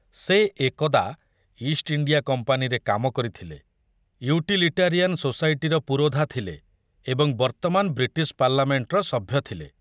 ସେ ଏକଦା East India କମ୍ପାନୀରେ କାମ କରିଥିଲେ, ଇଉଟିଲିଟାରିଆନ ସୋସାଇଟିର ପୁରୋଧା ଥିଲେ ଏବଂ ବର୍ତ୍ତମାନ ବ୍ରିଟିଶ ପାର୍ଲାମେଣ୍ଟର ସଭ୍ୟ ଥିଲେ।